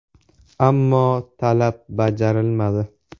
Ammo talab bajarilmadi.